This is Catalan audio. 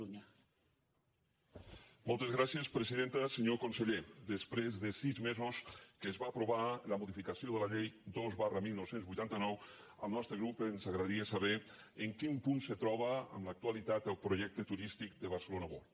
senyor conseller després de sis mesos que es va aprovar la modificació de la llei dos dinou vuitanta nou al nostre grup ens agradaria saber en quin punt se troba en l’actualitat el projecte turístic de barcelona world